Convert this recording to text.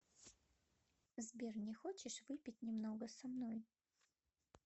сбер не хочешь выпить немного со мной